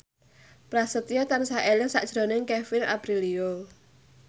Prasetyo tansah eling sakjroning Kevin Aprilio